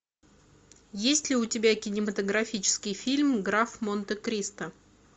есть ли у тебя кинематографический фильм граф монте кристо